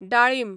डाळीम